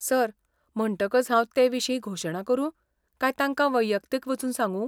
Sir, म्हणटकच हांव तेविशीं घोशणा करूं काय तांका वैयक्तीक वचून सांगू?